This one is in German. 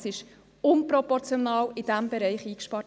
Es wurde in diesem Bereich überproportional eingespart.